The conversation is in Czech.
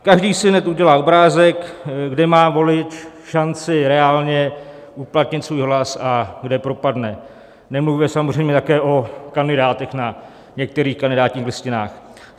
Každý si hned udělá obrázek, kde má volič šanci reálně uplatnit svůj hlas a kde propadne, nemluvě samozřejmě také o kandidátech na některých kandidátních listinách.